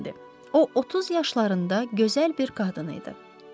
O 30 yaşlarında gözəl bir qadın idi.